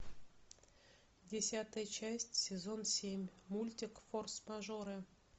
десятая часть сезон семь мультик форс мажоры